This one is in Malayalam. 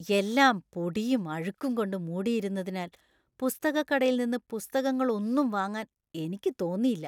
എല്ലാം പൊടിയും അഴുക്കും കൊണ്ട് മൂടിയിരുന്നതിനാൽ പുസ്തകക്കടയിൽ നിന്ന് പുസ്തകങ്ങളൊന്നും വാങ്ങാൻ എനിക്ക് തോന്നിയില്ല.